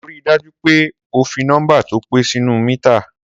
Sọ rí dàjú pẹ òfí nọmba tọ pẹ sinu mítá?